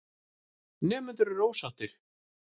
Nemendur eru ósáttir.